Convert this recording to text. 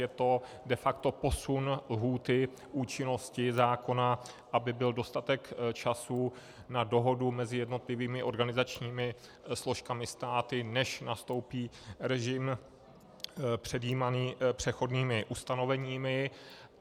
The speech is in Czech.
Je to de facto posun lhůty účinnosti zákona, aby byl dostatek času na dohodu mezi jednotlivými organizačními složkami státu, než nastoupí režim předjímaný přechodnými ustanoveními.